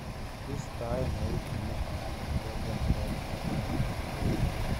Kistoen eut timiton alan kesemberen mosinit aln kebit.